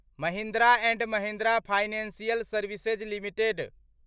Mahindra and Mahindra financial services limited